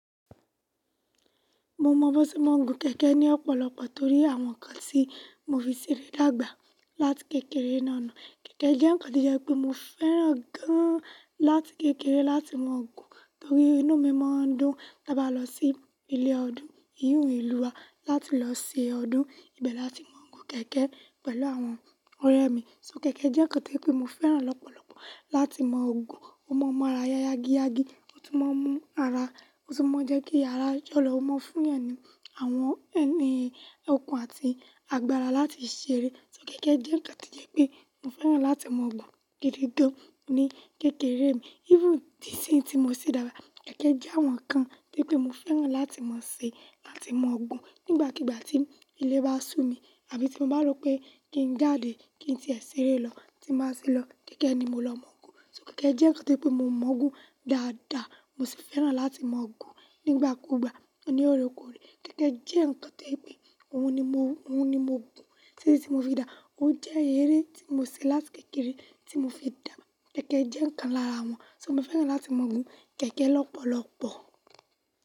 Mo mọ bó tí mo ń gun kẹ̀kẹ́ ní ọ̀pọ̀lọpọ̀ torí àwọn nǹkan tí mo fi ṣeré dàgbà láti kékeré náà náà. Kẹ̀kẹ́ jẹ́ nǹkan tí jẹ́ pé mo fẹ́ràn gan-an láti kékeré láti máa gun, torí inú mi máa ń dùn tí bá lọ sí ilé ọdún, iyùn ìlú wa láti lọ ṣe ọdún, ibẹ̀ láti máa gun kẹ̀kẹ́ pẹ̀lú àwọn ọ̀rẹ́ mi. So kẹ̀kẹ́ jẹ́ nǹkan tí pé mo fẹ́ràn lọ́pọ̀lọpọ̀ láti máa gun. Ó mọ máa ra yágíyágí, ó tún máa ń mú ara, ó tún máa ń jẹ́ kí ara jọ́lọ̀, ó mọ́ fún ẹni, àwọn ẹni okun àti agbára láti ṣeré. So kẹ̀kẹ́ jẹ́ nǹkan tí jẹ́ pé mo fẹ́ràn láti máa gun gidi dandan ní kékeré mi. Even tíṣìín tí mo ṣe dára, kẹ̀kẹ́ jẹ́ àwọn nǹkan tí pé mo fẹ́ràn láti máa ṣe àti máa gun. Nígbàkigbà tí ilé bá sú mi àbí tí mo bá rò pé kí n jáde kí n ṣe ẹ́ ṣeré lọ, tí màá ṣe lọ, kẹ̀kẹ́ ni mo lọ máa gun. So kẹ̀kẹ́ jẹ́ nǹkan tí pé mo mọ́ gun dáadáa, mo sì fẹ́ràn láti máa gun nígbàkugbà onírẹkurẹ. Kẹ̀kẹ́ jẹ́ nǹkan tí pé òun ni mo, òun ni mo gun títí tí mo fi dàá. Òun jẹ́ eré tí mo ṣe láti kékeré tí mo fi dàgbà. Kẹ̀kẹ́ jẹ́ nǹkan lára wọn. So mo fẹ́ràn láti máa gun kẹ̀kẹ́ lọ́pọ̀lọpọ̀.